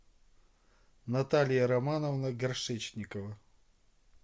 наталья романовна горшечникова